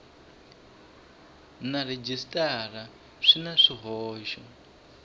na rhejisitara swi na swihoxo